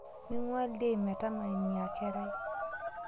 Mingua ldein metama inia kerai